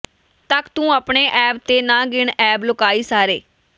ਤਕ ਤੂੰ ਅਪਣੇ ਐਬ ਤੇ ਨਾ ਗਿਣ ਐਬ ਲੋਕਾਈ ਸਾਰੇ